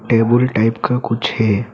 Table type का कुछ है।